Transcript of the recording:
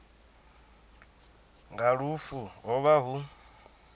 nga lufu ho vha hu